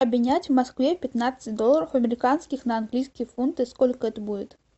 обменять в москве пятнадцать долларов американских на английские фунты сколько это будет